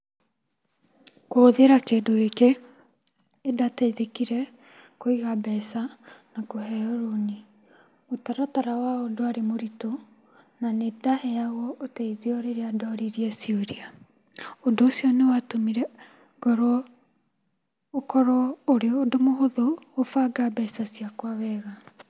Kũhũthĩra kĩndũgĩkĩ gĩkĩ, nĩndateithĩkire kũiga mbeca na kũheo rũni. Mũtaratara wao ndwarĩ mũritũ, na nĩ ndaheagwo ũteithio rĩrĩa ndoririe ciũria. ũndũ ũcio nĩwatũmire ngorwo, ũkorwo wĩ ũndũ mũhũthũ gũbanga indo ciakwa wega.